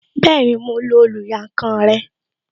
Bẹẹni, mo lo oluyankan rẹ